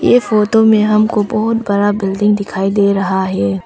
ये फोटो में हमको बहुत बड़ा बिल्डिंग दिखाई दे रहा है।